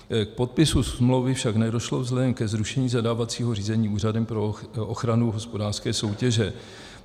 K podpisu smlouvy však nedošlo vzhledem ke zrušení zadávacího řízení Úřadem pro ochranu hospodářské soutěže.